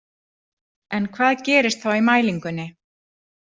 En hvað gerist þá í mælingunni?